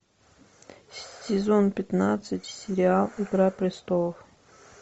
сезон пятнадцать сериал игра престолов